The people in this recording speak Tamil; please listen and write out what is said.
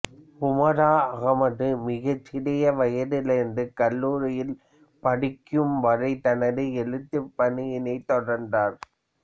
உமேரா அகமது மிகச் சிறிய வயதிலிருந்து கல்லூரியில் படிக்கும் வரை தனது எழுத்துப் பணியினைத் தொடர்ந்தார்